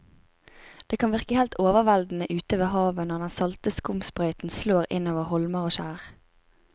Det kan virke helt overveldende ute ved havet når den salte skumsprøyten slår innover holmer og skjær.